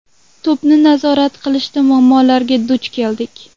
To‘pni nazorat qilishda muammolarga duch keldik.